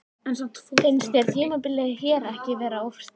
Finnst þér tímabilið hér ekki vera of stutt?